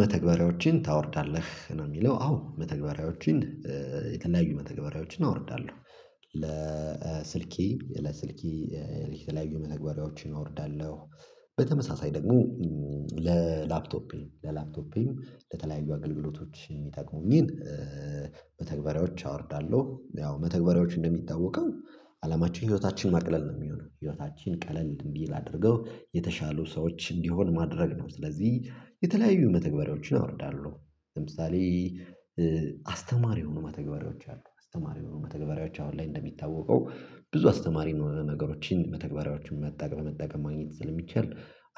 መተግበሪያዎችን ታወርዳለህ ነው የሚለው? አዎ መተግበሪያዎችን የተለያዩ መተግባሪያዎችን አወርዳለሁ ለስልኬ ለስልኬ የተለያዩ መተግበሪያዎችን አወርዳለሁ። በተመሳሳይ ደግሞ ለላፕቶፔ ለላፕቶፔም ለተለያዩ አገልግሎቶች የሚጠቅሙኝ መተግባሬዎች አወርዳለሁ። ያው መተግበሪያዎች እንደሚታወቀው አላማችን ህይወታችን ማቅለል ነው የሚሆነው ህይወታችን ቀለል እንዲል አድርገው የተሻሉ ሰዎች እንዲሆን ማድረግ ነው። ስለዚህ የተለያዩ መተግበሪያዎችን አወርዳለሁ። ለምሳሌ አስተማሪ የሆኑ መተግበሪያዎች አሉ። አስተማሪ የሆኑ መተግበሪያዎች አሁን ላይ እንደሚታወቀው ብዙ አስተማሪ የሆነ ነገሮችን መተግበሪያዎችን መጠቀም መጠቀም ማግኘት ስለሚቻል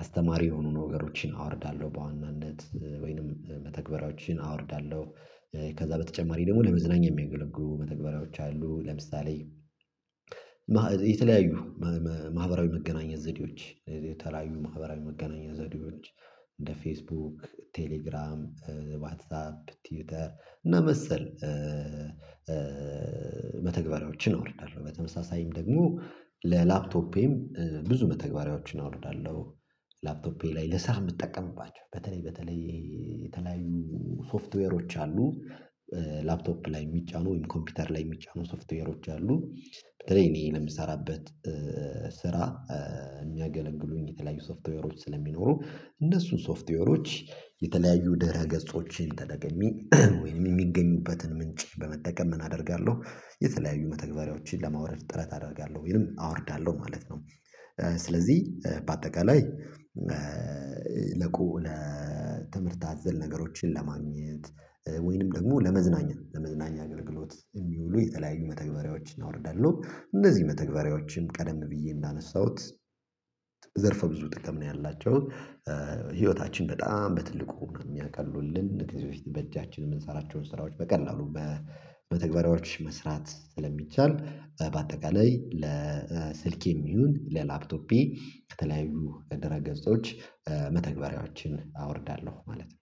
አስተማሪ የሆኑ ነገሮችን አወርዳለሁ። በዋናነት ወይንም መተግበያዎችን አወርዳለሁ። ከዛ በተጨማሪ ደግሞ ለመዝናኛ የሚያገለጉ መተግበሪያዎች አሉ። ለምሳሌ የተለያዩ ማህበራዊ መገናኛ ዘዴዎች የተለያዩ ማህበራዊ መገናኛ ዘዴዎች እንደ ፌስቡክ ቴሌግራም ዋትሳፕ ትዊተር እና መሰል መተግበሪያዎችን አወርዳለሁ። በተመሳሳይም ደግሞ ለላፕቶፔም ብዙ መተግበሪያዎችን አወርዳለሁ። ላፕቶፔ ላይ ለስራ የምትጠቀምባቸው በተለይ በተለይ የተለያዩ ሶፍትዌሮች አሉ። ላፕቶፕ ላይ የሚጫኑ ወይም ኮምፒውተር ላይ የሚጫኑ ሶፍትዌሮች አሉ። በተለይ እኔ ለምሰራበት ስራ የሚያገለግሉኝ የተለያዩ ሶፍትዌሮች ስለሚኖሩ እነሱን ሶፍትዌሮች የተለያዩ ድሕረ ገጾችን ተጠቅሜ ወይም የሚገኙበትን ምንጭ በመጠቀም ምን አደርጋለሁ የተለያዩ መተግበሪያዎችን ለማውረድ ጥረት አደርጋለሁ ይሄንን አወርዳለሁ ማለት ነው። ስለዚህ በአጠቃላይ ለቆ ለትምህርት አዘል ነገሮችን ለማግኘት ወይንም ደግሞ ለመዝናኛ ለመዝናኛ አገልግሎት የሚውሉ የተለያዩ መተግበሪያዎችን አወርዳለሁ። እንደዚህ መተግበሪያዎችም ቀደም ብዬ እንዳነሳሁት ዘርፈ ብዙ ጥቅም ነው ያላቸው። ህይወታችን በጣም በትልቁ ነው የሚያቀሉልን ከዚህ በፊት በእጃችን የምንሰራቸውን ስራዎች በቀላሉ በመተግበሪያዎች መስራት ስለሚቻል። በአጠቃላይ ለስልኬም ይሁን ለላፕቶፔ ከተለያዩ ደረ ገጾች መተግበሪያዎችን አወርዳለሁ ማለት ነው